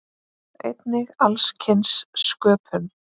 Einnig alls kyns sköpun.